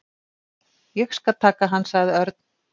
Ég skal taka hann sagði Örn.